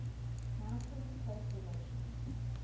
maintains close relations